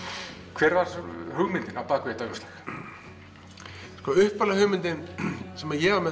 hver var hugmyndin á bak við þetta umslag upphaflega hugmyndin sem ég var með